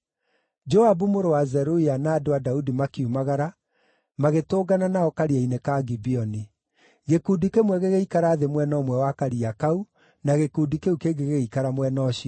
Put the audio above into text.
Joabu mũrũ wa Zeruia na andũ a Daudi makiumagara, magĩtũngana nao karia-inĩ ka Gibeoni. Gĩkundi kĩmwe gĩgĩikara thĩ mwena ũmwe wa Karia kau na gĩkundi kĩu kĩngĩ gĩgĩikara mwena ũcio ũngĩ.